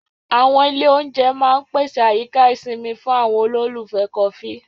Àwọn ilé-oúnjẹ máa ń pèsè àyíká ìsinmi fún àwọn olólùfẹ́ kọfí.